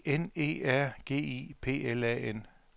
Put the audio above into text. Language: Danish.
E N E R G I P L A N